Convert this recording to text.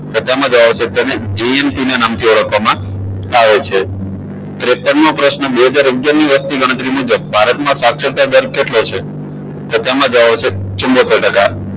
તો તેમાં જવાબ આવશે તેને GMT ના નામથી ઓળખવામાં આવે છે ત્રેપનમો મો પ્રશ્ન બે હજાર અગિયાર ની વસ્તી ગણતરી મુજબ સાક્ષરતા દર કેટલો છે તો તેમાં જવાબ આવશે ચૂમોતેર ટકા